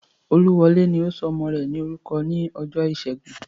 Olúwọlé ò ní sọ ọmọ rẹ̀ lórúkọ ní ọjọ́ ìṣẹ́gun